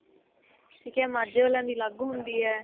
ਠੀਕ ਹੈ ਮਾਝੇ ਵਾਲਿਆ ਦੀ ਅਲੱਗ ਹੁੰਦੀ ਏ